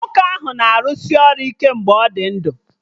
Nwoke ahụ na-arụsị ọrụ ike mgbe ọ dị ndụ